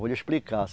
Vou lhe explicar.